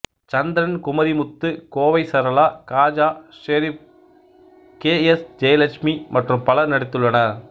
சந்திரன் Kumarimuthu Kovai Sarala Khaja Sherif K S Jayalakshmi மற்றும் பலர் நடித்துள்ளனர்